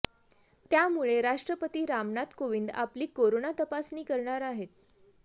त्यामुळे राष्ट्रपती रामनाथ कोविंद आपली कोरोना तपासणी करणार आहेत